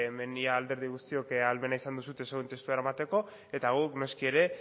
beno ia alderdi guztiok ahalmena izan duzue zuen testua eramateko eta guk noski ere